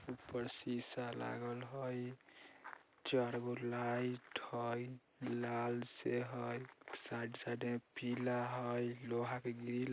ऊपर शीशा लागल होय चार गो लाइट होय लाल से होय साइड - साइड में पीला होय लोहा के ग्रिल --